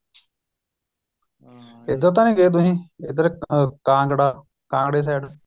ਇੱਧਰ ਤਾਂ ਨਹੀਂ ਗਏ ਤੁਸੀਂ ਇੱਧਰ ਕਾਂਗੜਾ ਕਾਂਗੜੇ side